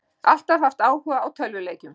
Alltaf haft áhuga á tölvuleikjum